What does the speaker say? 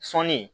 Sɔni